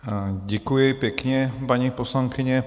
Děkuji pěkně, paní poslankyně.